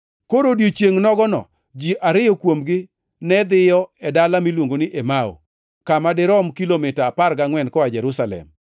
Koro e odiechiengʼ nogono ji ariyo kuomgi ne dhiyo e dala miluongo ni Emau, kama dirom kilomita apar gangʼwen koa Jerusalem.